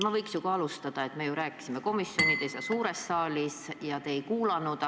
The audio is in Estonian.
Ma võiks ju ka alustada sellest, et me ju rääkisime komisjonides ja suures saalis, aga te ei kuulanud.